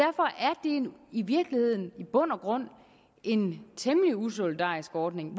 i virkeligheden i bund og grund en temmelig usolidarisk ordning